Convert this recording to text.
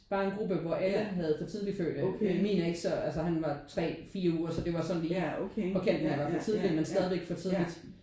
Var en gruppe hvor alle havde for tidlig fødte. Min er ikke så altså han var 3 4 uger så det var sådan lige på kanten af at være for tidlig men stadig for tidligt